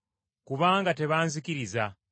kubanga tebanzikkiriza,